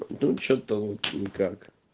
да что-то никак